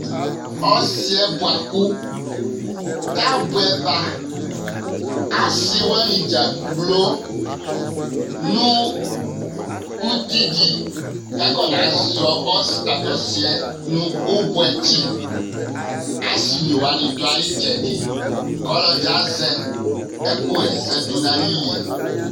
ɔsiɛ boa kò ta boɛ ba ase wani dzakplo no uti di k'akɔna zɔ tato ɔsiɛ no ubuɛ tsi ase ne wani do ayi itsɛdi k'ɔlɔdi azɛ ɛkò ɣa ɛsɛ do n'ayili